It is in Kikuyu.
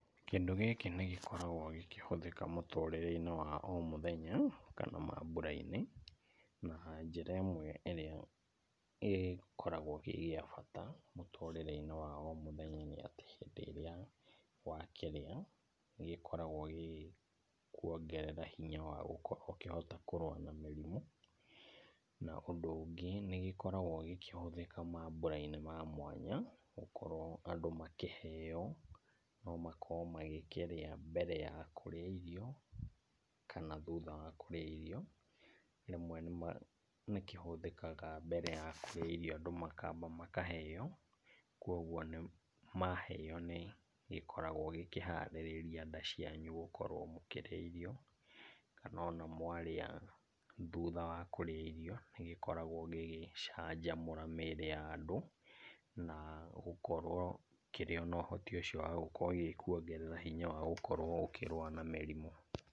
Kĩndũ gĩkĩ nĩ gĩkoragwo gĩkĩhũthĩka mũtũrĩre-inĩ wa o mũthenya kana mambura-inĩ, na njĩra ĩmwe ĩrĩa ĩkoragwo ĩ ya bata mũtũrĩre-inĩ wa omũthenya nĩ atĩ hĩndĩ ĩrĩa wakĩrĩa, nĩ gĩkoragwo gĩkĩkuongerera hinya wa gũkorwo ũkĩhotana na mĩrimũ. Na ũndũ ũngĩ nĩgĩkoragwo gĩkĩhũthĩka mambura-inĩ ma mwanya gũkorwo andũ makĩheo, no makorwo magĩkĩrĩa mbere ya kũrĩa irio kana thutha wa kũrĩa irio. Rĩmwe nĩ kĩhũthĩkaga mbere ya kũrĩa irio andũ makamba makaheo, koguo maheo nĩ gĩkoraGwo gĩkĩharĩrĩria nda cianyu gũkorwo mũkĩrĩa irio, kana ona mwarĩa, thutha wa kũrĩa irio, nĩ gĩkoragwo gĩgĩcanjamũra mĩĩrĩ ya andũ na gũkorwo kĩrĩ na ũhoti ũcio wa gũkorwo gĩkĩkuongerera hinya wa gũkorwo ũkĩrũa na mĩrimũ.